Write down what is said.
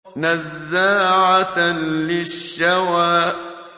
نَزَّاعَةً لِّلشَّوَىٰ